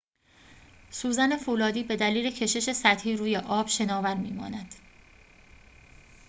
سوزن فولادی به دلیل کشش سطحی روی آب شناور می‌ماند